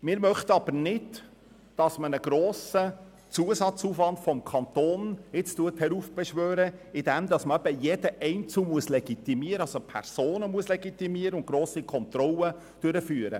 Wir möchten aber nicht, dass ein grosser Zusatzaufwand seitens des Kantons heraufbeschworen wird, indem jedes Detail und jede Person legitimiert werden müssen.